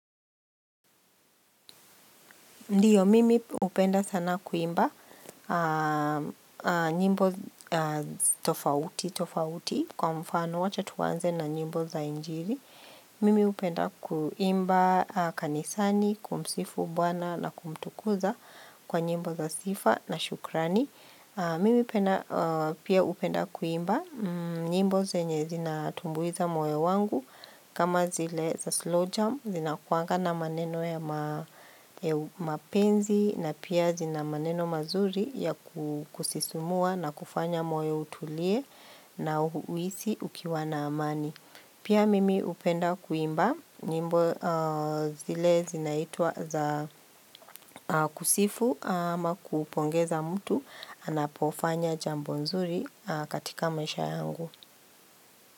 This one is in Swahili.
Ndiyo, mimi upenda sana kuimba nyimbo tofauti, tofauti kwa mfano wacha tuanze na nyimbo za injili. Mimi hupenda kuimba kanisani, kumsifu, bwana na kumtukuza kwa nyimbo za sifa na shukrani. Mimi penda pia hupenda kuimba nyimbo zenye zina tumbuiza moyo wangu. Kama zile za slow jam zinakuanga na maneno ya mapenzi na pia zina maneno mazuri ya kusisumua na kufanya moyo utulie na huisi ukiwa na amani. Pia mimi hupenda kuimba nyimbo zile zinaitwa za kusifu ama kupongeza mtu anapofanya jambo nzuri katika masha yangu.